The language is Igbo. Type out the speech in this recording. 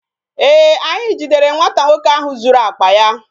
Ee, anyị jidere nwata nwoke ahụ zuru akpa ya